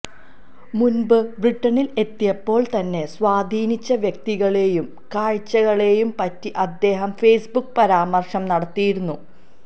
മുൻപ് ബ്രിട്ടണിൽ എത്തിയപ്പോൾ തന്നെ സ്വാധീനിച്ച വ്യക്തികളെയും കാഴ്ചകളെയും പറ്റിയും അദ്ദേഹം ഫേസ്ബുക്ക് പരാമർശം നടത്തിയിരുന്നു